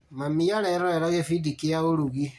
Mami arerorera gĩbindi kĩa ũrugi